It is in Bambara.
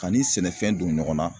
K'a ni sɛnɛfɛn don ɲɔgɔn na